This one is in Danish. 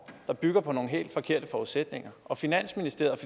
der bygger på nogle helt forkerte forudsætninger og finansministeriet